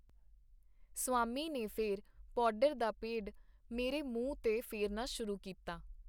ਸਵਾਮੀ ਨੇ ਫੇਰ ਪੌਡਰ ਦਾ ਪੇਡ ਮੇਰੇ ਮੂੰਹ ਤੇ ਫੇਰਨਾ ਸ਼ੁਰੂ ਕੀਤਾ.